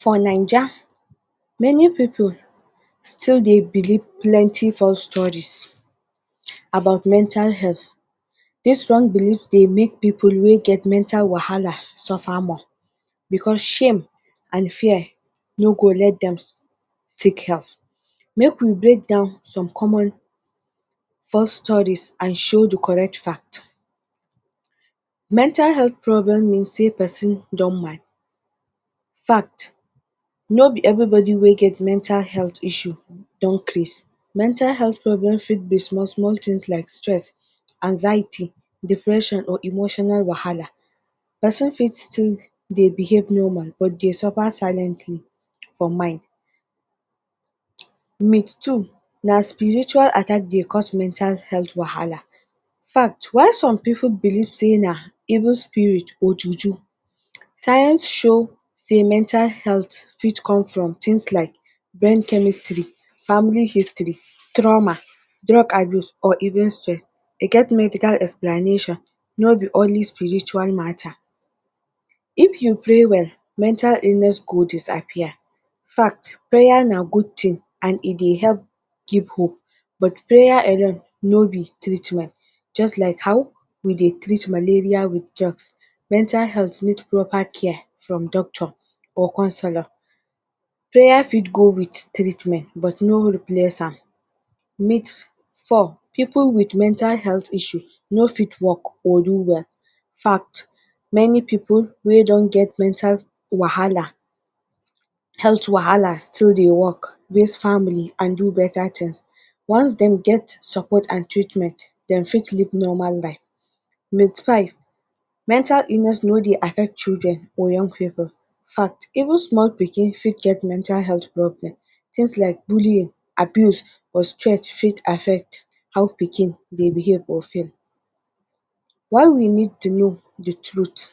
For Naija many pipul still dey believe plenty false studies about mental health, this wrong believe dey make people way get mental wahala sufer more because shame and fear no go let dem seek help, make we break down some common false studies and show the correct fact, mental health problem means person don mad, infact, no be everybody way get mental health issue don craze mental health fit be small-small thing like stress, anxiety, depression or emotional wahala. Person fit choose to behave normal but they surfer siliently for mind….. two, na spiritual attack they cause mental health wahala, infact why some pipul believe say na evil spirit or juju science show say mental health fit come from things like men… Family history, trauma, drug abuse or even stress. E get medical explanation no be only spiritual matter, if you pray well mental illness go disappear, infact prayer na good thing and e dey help give hope but prayer alone is not treatment just as how we dey treat malaria with drugs. Mental health needs proper care from doctor or counselor. Prayer fit go with treatment but no replace am…. Four, pipul with mental health issue no fit work or do their….. fact, many pipul wey don get mental wahala, health wahala still dey work mix family and do better things. Once dey get support and treatment dem fit live normal life… Five, mental illness no dey affect children or young pipul, infact even small pikin fit get mental health problem, things like bullying, abuse or stress fit affect how the pikin they behave or feel while we need to know the truth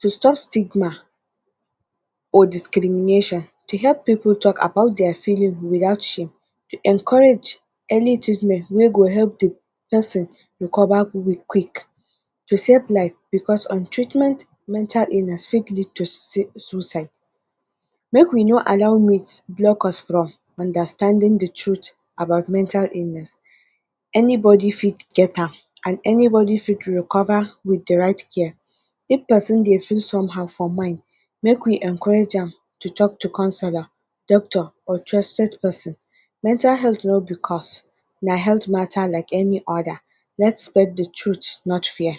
to stop stigma or discrimination to help pipul talk about their feeling without shame to encourage any treatment wey go help the person recover quick, to save life because on treatment mental illness fit lead suicide make we no allow myth lock us from understanding the truth about mental illness anybody fit get am and any body fit recover with the right care if person dey feel somehow for mind make we encourage am to councilor, doctor or….. person. Mental health no be cause na health matter like any other let spread the truth not fear.